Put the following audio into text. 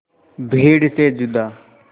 भीड़ से जुदा